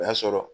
O y'a sɔrɔ